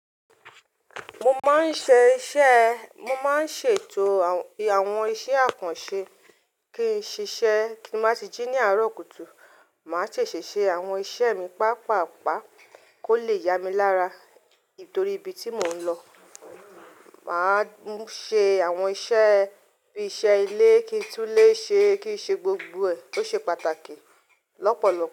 Mo máa ń ṣe iṣẹ́, mo máa ń ṣètò àwọn iṣẹ́ àkànṣe kí n ṣiṣẹ́. Tí n má tí jí ní àárọ̀ kùtù, màá ṣe ṣèṣe àwọn iṣẹ́ mi pàápàá, kó le yá mi lára. Nítorí ibi tí mò ń lọ, màá ṣe àwọn iṣẹ́ bí iṣẹ́ ilé, kí i tún lé ṣe, kí i ṣe gbogbo ẹ̀. Ó ṣe pàtàkì lọ́pọ̀lọpọ̀